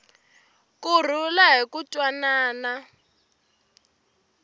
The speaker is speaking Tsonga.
ku rhula ni ku twanana